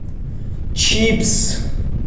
чипсы